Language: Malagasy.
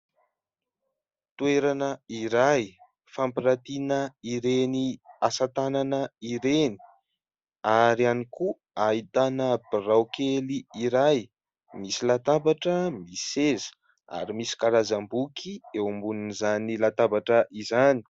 Toerana iray fampirantina ireny asa tanana ireny ary ihany koa ahitana birao kely iray misy latabatra, misy seza ary misy karazam-boky eo ambonin'izany latabatra izany.